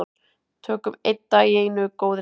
Tökum einn dag í einu góðir hálsar.